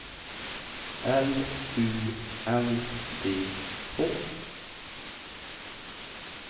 L U N D H